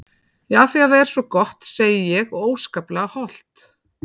Já af því það er svo gott segi ég og óskaplega hollt.